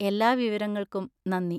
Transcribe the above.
എല്ലാ വിവരങ്ങൾക്കും നന്ദി.